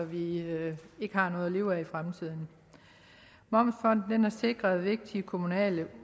vi ikke ikke har noget at leve af i fremtiden momsfondet har sikret vigtige kommunale